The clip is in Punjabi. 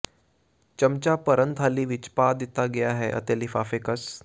ਚਮਚਾ ਭਰਨ ਖਾਲੀ ਵਿੱਚ ਪਾ ਦਿੱਤਾ ਹੈ ਅਤੇ ਲਿਫਾਫੇ ਕਸ